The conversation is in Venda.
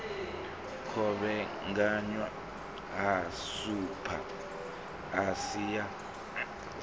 kovhekanywa ha sapu asi ya